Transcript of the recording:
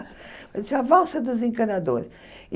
Eu disse, a valsa dos encanadores.